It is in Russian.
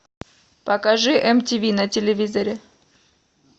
покажи мтв на телевизоре